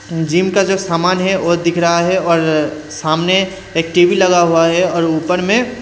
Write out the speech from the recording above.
gym का जो सामान है वह दिख रहा है और सामने एक टी_वी लगा हुआ है और ऊपर में--